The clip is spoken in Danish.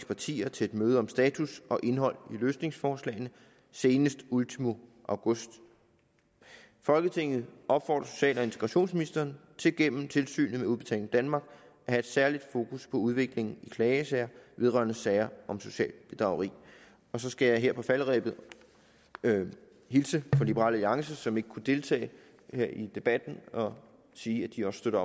partier til et møde om status og indhold i løsningsforslagene senest ultimo august folketinget opfordrer social og integrationsministeren til gennem tilsynet med udbetaling danmark at have særligt fokus på udviklingen i klagesager vedrørende sager om socialt bedrageri så skal jeg her på falderebet hilse fra liberal alliance som ikke kunne deltage i debatten og sige at de også støtter